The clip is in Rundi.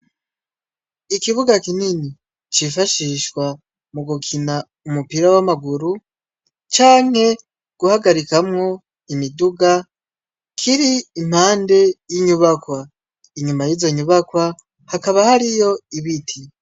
Ikibuga kinini cifashishwa mu gukina umupira w'amaguru canke guhagarikamwo imiduga kiri impande y'inyubakwa, inyuma yizo nyubakwa hakaba hariyo ibiti.